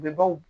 U bɛ baw